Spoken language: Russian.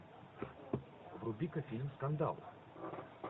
вруби ка фильм скандал